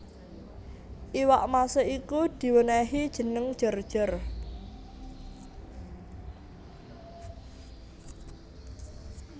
Iwak mase iku diwenehi jeneng Jor jor